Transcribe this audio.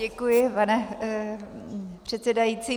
Děkuji, pane předsedající.